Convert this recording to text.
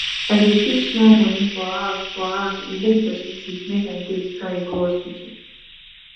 i dey keep small money for house for house in case pesin sick make i take carry go hospital